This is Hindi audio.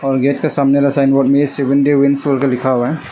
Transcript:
और गेट के सामने साइन बोर्ड में सिवुंडी विंड्स लिखा हुआ है।